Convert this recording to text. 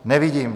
Nevidím.